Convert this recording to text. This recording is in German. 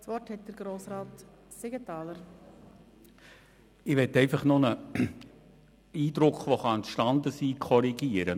Ich möchte noch einen Eindruck korrigieren, der vielleicht entstanden ist.